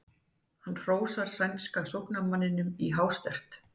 Hann hrósar sænska sóknarmanninum í hástert.